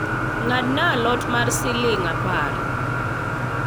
ng'adna a lot mar siling' apar